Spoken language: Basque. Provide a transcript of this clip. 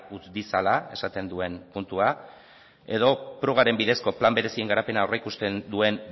utz ditzala esaten duen puntua edo prugaren bidezko plan berezien garapena aurreikusten duen